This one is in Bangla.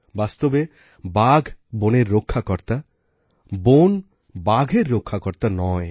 বাস্তবে বাঘ বনের রক্ষাকর্তা বন বাঘের রক্ষাকর্তা নয়